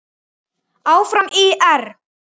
Áfram ÍR!